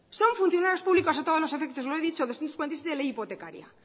son funcionarios públicos a todos los efectos lo he dicho doscientos cuarenta y siete ley hipotecaria